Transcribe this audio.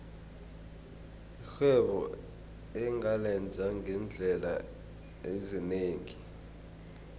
irhwebo ungalenza ngeendlela ezinengi